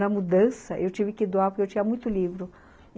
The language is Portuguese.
Na mudança, eu tive que doar porque eu tinha muito livro.